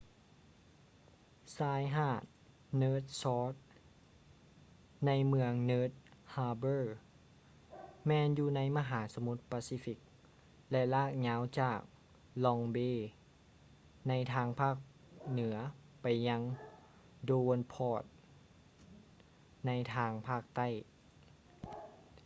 ຊາຍຫາດ north shore ໃນເມືອງ north harbor ແມ່ນຢູ່ໃນມະຫາສະໝຸດປາຊີຟິກ ແລະ ລາກຍາວຈາກ long bay ໃນທາງພາກເໜືອໄປຍັງ devonport ໃນທາງພາກໃຕ້